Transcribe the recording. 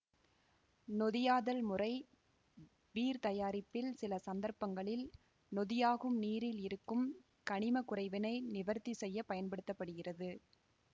நொதியாதல் முறை பீர் தயாரிப்பில் சில சந்தர்ப்பங்களில் நொதியாகும் நீரில் இருக்கும் கனிம குறைவினை நிவர்த்தி செய்ய பயன்படுத்த படுகிறது